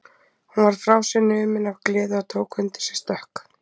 Hún varð frá sér numin af gleði og tók undir sig stökk.